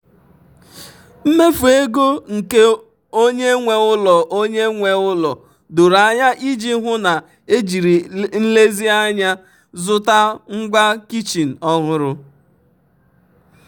mmefu ego nke onye nwe ụlọ onye nwe ụlọ doro anya iji hụ na ejiri nlezianya zụta ngwa kichin ọhụrụ.